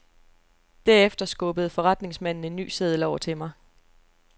Derefter skubbede forretningsmanden en ny seddel over til mig.